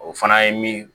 O fana ye min